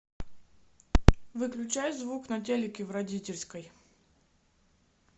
выключай звук на телике в родительской